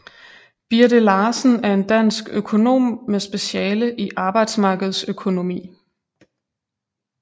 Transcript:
Birthe Larsen er en dansk økonom med speciale i arbejdsmarkedsøkonomi